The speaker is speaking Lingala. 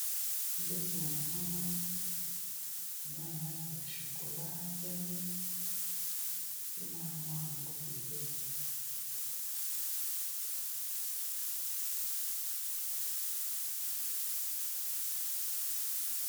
Mbeto ya monene, eza na langi ya chokola, pembe. Pe na armoir na ngo pembeni.